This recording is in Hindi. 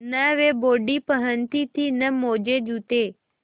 न वे बॉडी पहनती थी न मोजेजूते